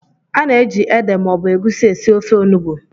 A na-eji ede maọbụ egusi esi ofe onugbu